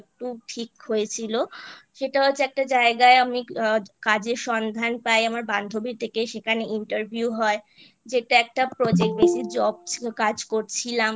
একটু ঠিক হয়েছিল সেটা হচ্ছে একটা জায়গায় আমি কাজের সন্ধান পাই আমার বান্ধবীর থেকে সেখানে Interview হয় যেটা একটা Project Base ই Job কাজ করছিলাম